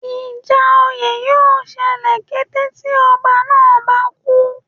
Ìjà oyè yóò ṣẹlẹ̀ kété tí ọba náà bá kú